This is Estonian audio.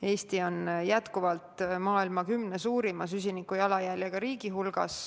Eesti on jätkuvalt maailma kümne suurima süsiniku jalajäljega riigi hulgas.